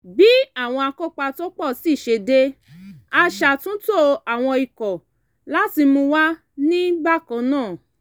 bí àwọn akópa tó pọ̀ sí i ṣe dé a ṣàtúntò àwọn ikọ̀ láti mú wà ní bákan náà